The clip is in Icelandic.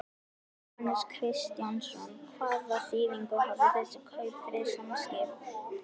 Jóhannes Kristjánsson: Hvaða þýðingu hafa þessi kaup fyrir Samskip?